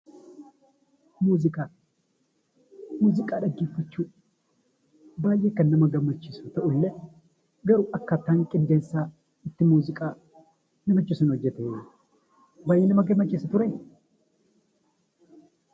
Muuziqaa dhaggeeffachuun baay'ee kan nama gammachiisuu fi kan nama bashannansiisudha.